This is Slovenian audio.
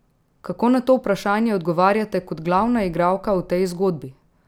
Kako na to vprašanje odgovarjate kot glavna igralka v tej zgodbi?